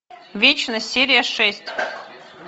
вечность серия шесть